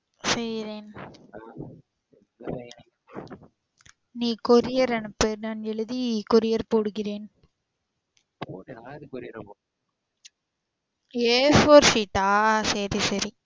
செய்றேன். நீ courier அனுப்பு நா செய்றேன். எழுதி courier போடுகிறேன். யாரு courier a four sheet ஆ சரி சரி.